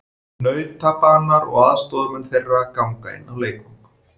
Nautabanar og aðstoðarmenn þeirra ganga inn á leikvang.